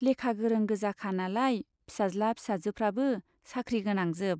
लेखा गोरों गोजाखा नालाय फिसाज्ला फिसाजोफ्राबो साख्रि गोनांजोब।